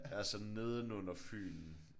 Altså nedenunder Fyn